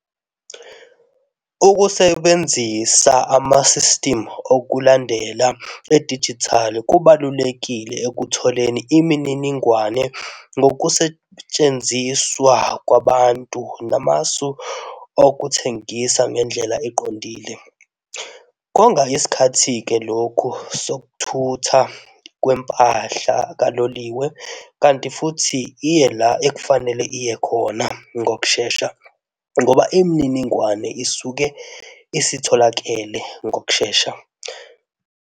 Ukusebenzisa ama-system okulandelela edijithali kubalulekile ekutholeni imininingwane ngokusetshenziswa kwabantu namasu okuthengisa ngendlela eqondile. Konga isikhathi-ke lokhu sokuthutha kwempahla kaloliwe kanti futhi iye la ekufanele iye khona ngokushesha ngoba imininingwane isuke isitholakele ngokushesha.